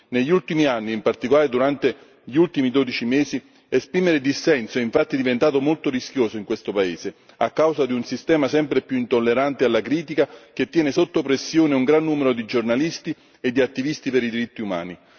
Negli ultimi anni, in particolare durante gli ultimi dodici mesi, esprimere dissenso infatti è diventato molto rischioso in questo paese, a causa di un sistema sempre più intollerante alla critica che tiene sotto pressione un gran numero di giornalisti e di attivisti per i diritti umani.